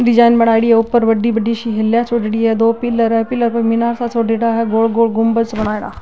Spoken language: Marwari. डिजाइन बनाई दी है ऊपर बड़ी बड़ी सी दो हिला छोड़ डी है दो पिलर है पिलर पर मीनार सी छोड़ डी है गोल गोल गुम्बद सा बनाई डा --